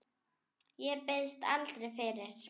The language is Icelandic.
Ég biðst aldrei fyrir.